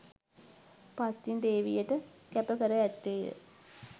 පත්තිනි දේවියට කැප කර ඇත්තේය